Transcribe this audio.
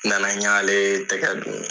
N nana n ɲale tɛkɛ don .